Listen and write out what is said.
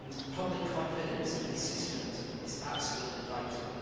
Public confidence in these systems is absolutely vital.